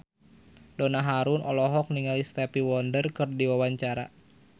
Donna Harun olohok ningali Stevie Wonder keur diwawancara